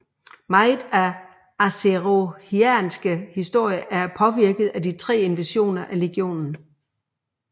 Meget af den azerothianske historie er påvirket af de tre invasioner af legionen